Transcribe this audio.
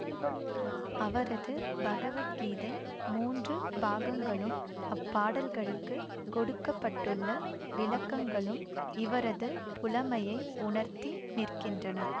அவரது பகவத்கீதை மூன்று பாகங்களும் அப்பாடல்களுக்கு கொடுக்க பட்டுள்ள விளக்கங்களும் இவரது புலமையை உணர்த்தி நிற்கின்றன